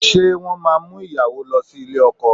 Ṣé wọ́n máa mú ìyàwó lọ sí ilé ọkọ?